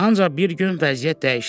Ancaq bir gün vəziyyət dəyişdi.